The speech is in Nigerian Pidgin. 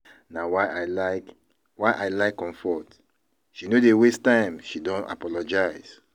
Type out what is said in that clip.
Na why I like why I like Comfort, she no dey waste time she don apologise